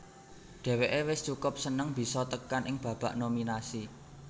Dhèwèké wis cukup seneng bisa tekan ing babak nominasi